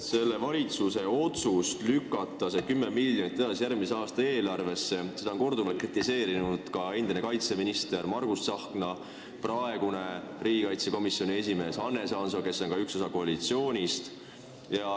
Selle valitsuse otsust lükata see 10 miljonit edasi järgmise aasta eelarvesse on korduvalt kritiseerinud ka endine kaitseminister Margus Tsahkna ja praegune riigikaitsekomisjoni esimees Hannes Hanso, kes on ka üks osa koalitsioonist.